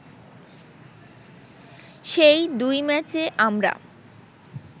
সেই দুই ম্যাচে আমরা